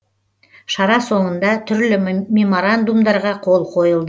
шара соңында түрлі меморандумдарға қол қойылды